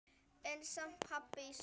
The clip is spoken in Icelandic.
En samt- pabbi í skóla?